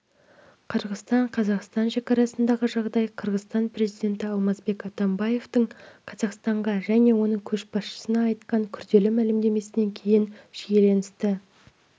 қырғызстан-қазақстан шекарасындағы жағдай қырғызстан президенті алмазбек атамбаевтың қазақстанға және оның көшбасшысына айтқан күрделі мәлімдемесінен кейін шиеленісті